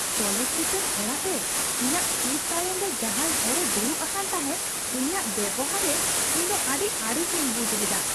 ᱪᱚᱞᱚᱛ ᱪᱤᱛᱟᱹᱨ ᱚᱲᱟᱜ ᱨᱮ ᱤᱧᱟᱜ ᱥᱤᱴ ᱛᱟᱭᱚᱢ ᱨᱮ ᱡᱟᱦᱟᱸᱭ ᱦᱚᱲᱼᱮ ᱫᱩᱲᱩᱵ ᱟᱠᱟᱱ ᱛᱟᱦᱮᱸᱫ ᱩᱱᱤᱭᱟᱜ ᱵᱮᱣᱦᱟᱨ ᱨᱮ ᱤᱣ ᱫᱚ ᱟᱹᱰᱤ ᱟᱹᱲᱤᱥᱤᱧ ᱵᱩᱡᱷ ᱞᱮᱫᱟ ᱾